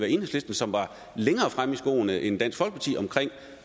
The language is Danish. enhedslisten som var længere fremme i skoene end dansk folkeparti omkring